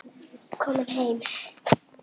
Komin heim?